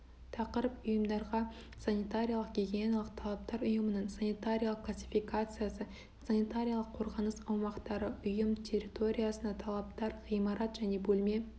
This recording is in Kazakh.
тақырып ұйымдарға санитариялық гигиеналық талаптар ұйымның санитариялық классификациясы санитариялық-қорғаныс аумақтары ұйым территориясына талаптар ғимарат және бөлме